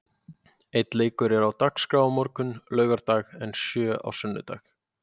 Einn leikur er á dagskrá á morgun, laugardag en sjö á sunnudag.